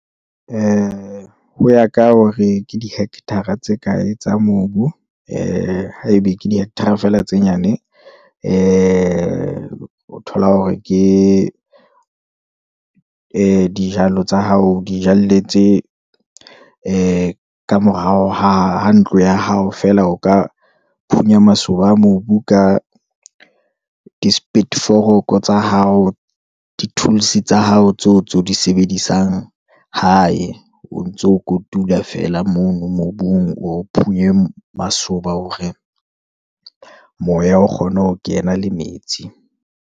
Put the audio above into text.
ee, hoya ka hore ke di-hectare-a tse ka ye tsa mobu, ee haebe ke di-hectare-a fela tse nyane, ee, o thola hore ke ee dijalo tsa hao, o di jalletse ee ka morao ha ntlo ya hao fela, o ka phunya masoba a mobu ka di-spit foroko tsa hao, di-tools tsa hao tseo tseo di sebedisang hae, o ntso kotula fela mono mobung, o phunye masoba hore moya o kgona ho kena le metsi.